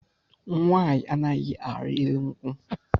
Nwaanyị anaghị ari elu nkwụ